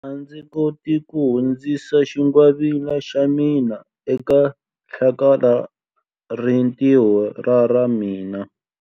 A ndzi koti ku hundzisa xingwavila xa mina eka hlakalarintiho ra ra mina.